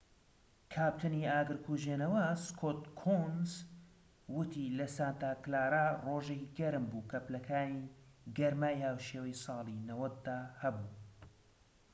کاپتنی ئاگر کوژێنەوە سکۆت کۆونس وتی لە سانتا کلارا ڕۆژێکی گەرم بوو کە پلەکانی گەرمای هاوشێوەی ساڵی 90دا هەبوو